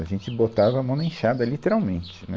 A gente botava a mão na enxada, literalmente, né?